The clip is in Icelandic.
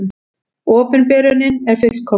Opinberunin er fullkomnuð.